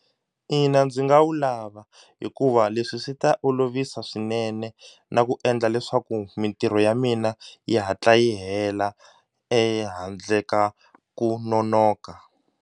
Ina, ndzi nga wu lava hikuva leswi swi ta olovisa swinene na ku endla leswaku mitirho ya mina yi hatla yi hela ehandle ka ku nonoka.